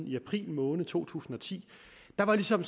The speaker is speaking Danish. i april måned to tusind og ti var der ligesom